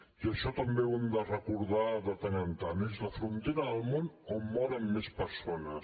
i això també ho hem de recordar de tant en tant és la frontera del món on moren més persones